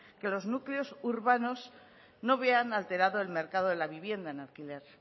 que los núcleos urbanos no vean alterado el mercado de la vivienda en alquiler